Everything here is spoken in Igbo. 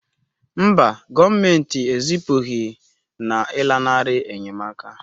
Mba, gọọmentị ezipụghị na ịlanarị enyemaka